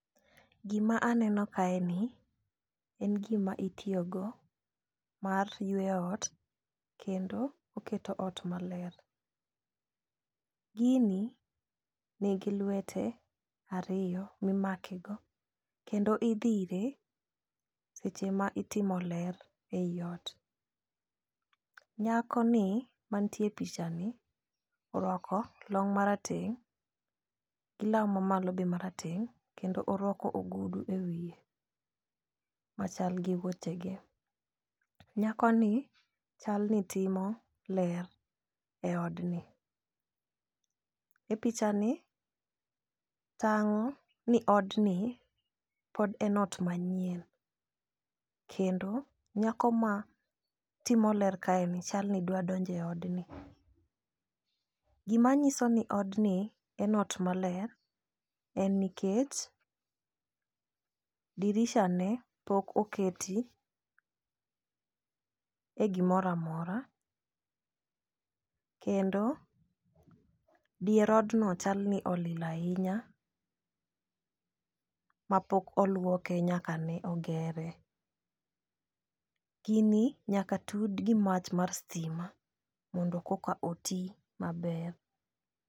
Gima aneno kae ni en gima itiyo go mar yweyo ot kendo oketo ot maler. Gini nigi lwete ariyo mimake go kendo idhire seche ma itimo ler e iot . Nyako ni mantie picha ni orwako long marateng' gi law mamalo be marateng' kendo orwako ogudu e wiye machal gi wuoche ge nyako ni chal ni timo ler e odni . E picha ni tang'o ni odni pod en ot manyien kendo nyako ma timo ler kae ni chal ni dwa donje odni. Gima nyiso ni odni en ot maler en nikech dirisha ne pok oketi e gimora mora kendo dier odno chal ni olil ahinya mapok oluoke nyaka ne ogere. Gini nyaka tud gi mach mar stima mondo koka oti maber.